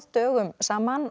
dögum saman